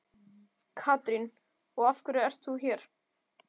Katrín: Og af hverju ert þú hér?